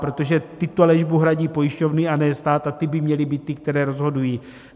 Protože tyto léčbu hradí pojišťovny, a ne stát, a ty by měly být ty, které rozhodují.